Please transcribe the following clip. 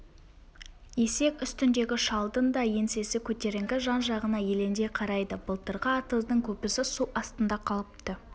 есек үстіндегі шалдың да еңсесі көтеріңкі жан-жағына елеңдей қарайды былтырғы атыздың көбісі су астында қалыпты